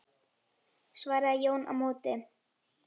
svaraði Jón á móti.